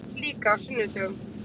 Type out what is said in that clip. Líka á sunnudögum.